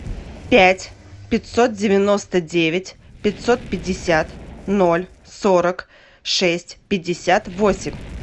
пять пятьсот девяносто девять пятьсот пятьдесят ноль сорок шесть пятьдесят восемь